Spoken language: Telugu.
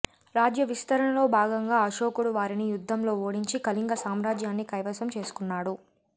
రాజ్య విస్తరణలో భాగంగా అశోకుడు వారిని యుద్ధంలో ఓడించి కళింగ సామ్రాజ్యాన్ని కైవసం చేసుకున్నాడు